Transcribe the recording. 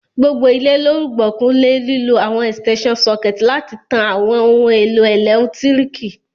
Gbogbo ilé lo rùgbọ̀kú le lílo àwon extension sucket láti tan àwon oun èlò ẹ́lẹ̀ntirikì